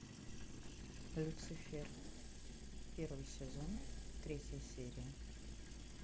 люцифер первый сезон третья серия